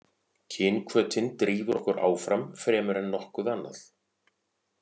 Kynhvötin drífur okkur áfram fremur en nokkuð annað.